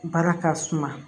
Baara ka suma